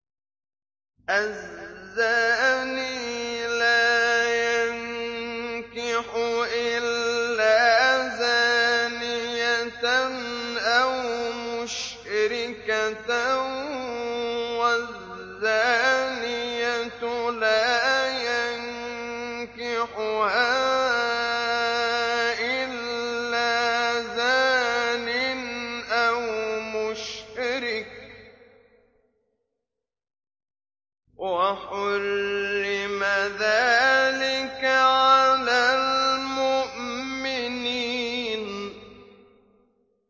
الزَّانِي لَا يَنكِحُ إِلَّا زَانِيَةً أَوْ مُشْرِكَةً وَالزَّانِيَةُ لَا يَنكِحُهَا إِلَّا زَانٍ أَوْ مُشْرِكٌ ۚ وَحُرِّمَ ذَٰلِكَ عَلَى الْمُؤْمِنِينَ